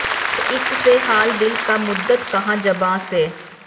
ਹਰ ਇਕ ਸੇ ਹਾਲ ਦਿਲ ਕਾ ਮੁੱਦਤ ਕਹਾ ਜ਼ਬਾਂ ਸੇ